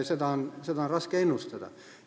Seda kõike on raske ennustada.